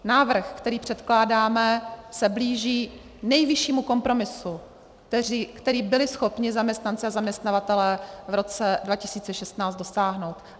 Návrh, který předkládáme, se blíží nejvyššímu kompromisu, který byli schopni zaměstnanci a zaměstnavatelé v roce 2016 dosáhnout.